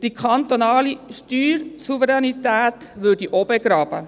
Die kantonale Steuersouveränität würde auch begraben.